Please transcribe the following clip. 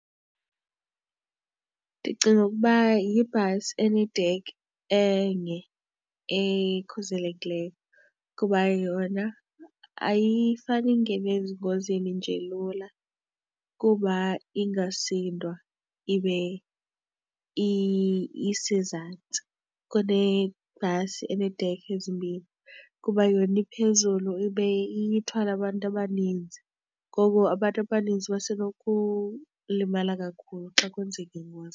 Ndicinga ukuba yibhasi enedekha enye ekhuselekileyo kuba yona ayifani ingene ezingozini nje lula kuba ingasindwa ibe isezantsi kunebhasi eneedekha ezimbini kuba yona iphezulu ibe ithwala abantu abaninzi. Ngoko abantu abaninzi base nokulimala kakhulu xa kwenzeke ingozi kubo.